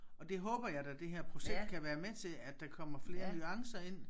Og det håber jeg da det her projekt kan være med til at der kommer flere nuancer ind